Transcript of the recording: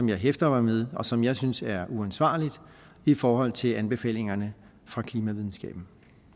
jeg hæfter mig ved og som jeg synes er uforsvarligt i forhold til anbefalingerne fra klimavidenskaben